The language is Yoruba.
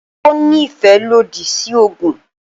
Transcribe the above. Ó ní ìfẹ́ ìlòdì sí oògùn